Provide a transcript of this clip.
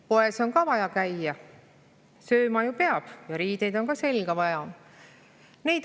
Poes on ka vaja käia: sööma ju peab ja riideid on selga vaja.